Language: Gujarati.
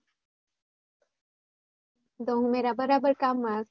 તો ઉમેરા બરાબર કામ માં હશે?